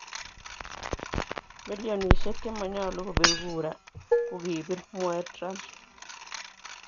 milionisiek chemanyalu kopir gura kogipir, mwae Trump